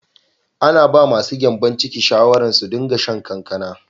Ana ba ma su gyanbon ciki shawara su din ga shan kankana.